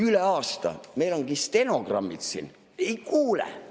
Üle aasta, meil on stenogrammid olemas – ei kuule!